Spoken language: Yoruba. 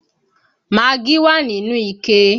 Maggi wà nínú ike